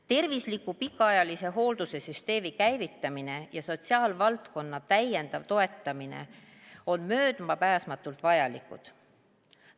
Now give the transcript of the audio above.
Tervisliku pikaajalise hoolduse süsteemi käivitamine ja sotsiaalvaldkonna täiendav toetamine on möödapääsmatult vajalikud.